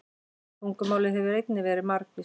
Tungumálið hefur einnig verið margvíslegt.